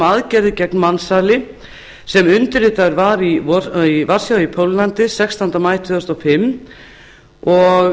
aðgerðir gegn mansali sem undirritaður var í varsjá í póllandi sextánda maí tvö þúsund og